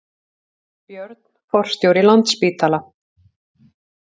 Björn forstjóri Landspítala